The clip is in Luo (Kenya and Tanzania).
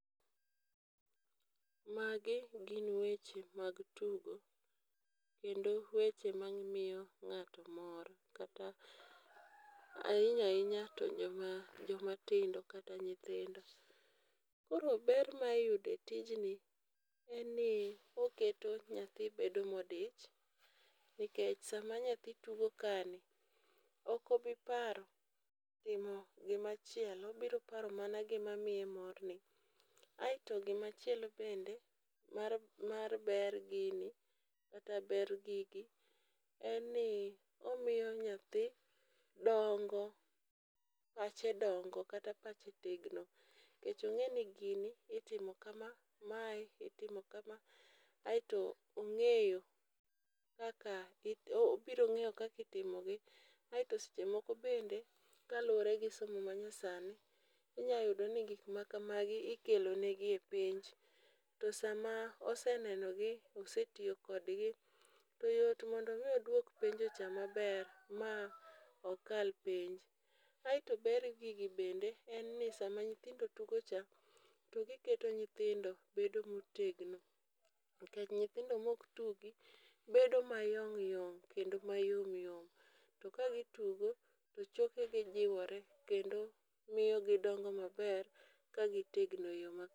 Magi gin weche mag tugo, kendo weche mamiyo ng'ato mor kata ahinya ahinya tojoma tindo kata nyithindo. Koro ber ma iyudo e tijni en ni oketo nyathi bedo modich nikech sama nyathi tugo kaeni ok obi paro gima chielo, obiro paro mana gima miye morni. Aeto gima chielo bende mar mar ber gini kata ber gigi en ni omiyo nyathi dongo ka ose dongo kata ka osetegno nikech ong'eyo ni gini itimo kama, mae itimo kama. Aeto ong'eyo kaka it obiro ng'eyo kaka itimogi kaeto seche moko bende kaluwore gi somo ma nyasani inyalo yudo ka gik makama ikelo negi e penj kaeto sama oseneno gi osetiyo kodgi to yot mondo mi oduok penjo cha maber ma okal penj. Kaeto ber gigi bende, en ni sama nyithindo tugo cha, to giketo nyithindo bedo motegno. Nikech nyithindo maok tugi, bedo mayong' yong' kendo ma yomyom to ka gitugo to choke gijiwore kendo miyo gidongo maber ka gitegno eyo ma